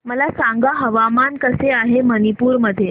मला सांगा हवामान कसे आहे मणिपूर मध्ये